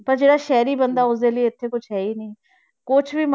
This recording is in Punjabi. ਤਾਂ ਜਿਹੜਾ ਸ਼ਹਿਰੀ ਬੰਦਾ ਉਸਦੇ ਲਈ ਇੱਥੇ ਕੁਛ ਹੈ ਹੀ ਨੀ, ਕੁਛ ਵੀ